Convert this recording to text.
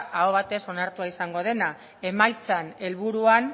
ahoz batez onartu izango dena emaitzen helburuan